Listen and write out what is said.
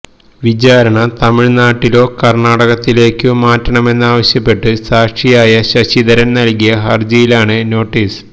വിചാരണ തമിഴ്നാട്ടിലോ കര്ണാടകത്തിലേക്കോ മാറ്റണമെന്നാവശ്യപ്പെട്ട് സാക്ഷിയായ ശശിധരന് നല്കിയ ഹര്ജിയിലാണ് നോട്ടീസ്